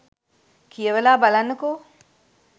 කියවලා බලන්නකෝ.